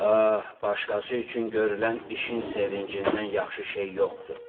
Ah, başqası üçün görülən işin sevincindən yaxşı şey yoxdur.